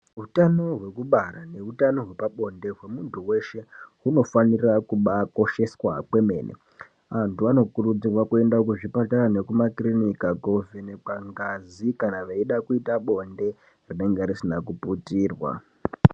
Hutano hwekubara nehutano hwepabonde hwemuntu weshe hunofanira kubakosheswa kwemene antu anokurudzirwa kuenda kuzvibhedhlera nekumakiriniki kovhenekwa ngazi kana veida kuita bonde rinenge risina kuputirwa.